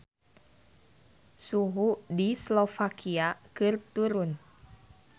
Suhu di Slovakia keur turun